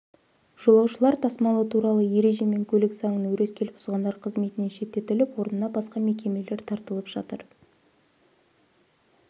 жолаушылар тасымалы туралы ереже мен көлік заңын өрескел бұзғандар қызметінен шеттетіліп орнына басқа мекемелер тартылып жатыр